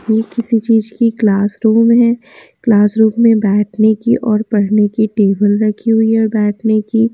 यह किसी चीज की क्लासरूम है क्लासरूम में बैठने की और पढ़ने की टेबल रखी हुई है और बैठने की।